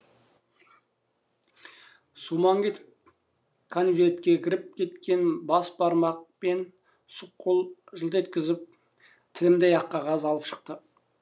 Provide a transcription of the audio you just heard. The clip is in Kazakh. сумаң етіп конвертке кіріп кеткен бас бармақ пен сұқ қол жылт еткізіп тілімдей ақ қағаз алып шықты